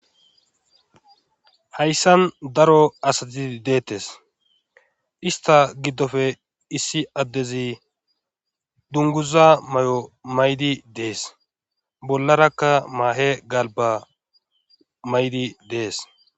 Hayssan daro asati deettes. Ista giddoppe issi addezi dunguza mayo mayidi dees. Bollarakka maahe galba mayidi dees.